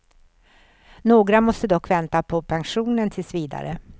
Några måste dock vänta på pensionen tills vidare.